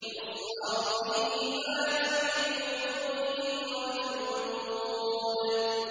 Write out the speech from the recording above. يُصْهَرُ بِهِ مَا فِي بُطُونِهِمْ وَالْجُلُودُ